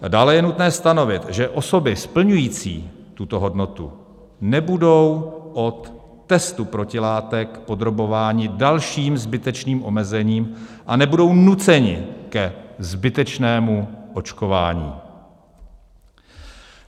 Dále je nutné stanovit, že osoby splňující tuto hodnotu nebudou od testu protilátek podrobovány dalším zbytečným omezením a nebudou nuceny ke zbytečnému očkování.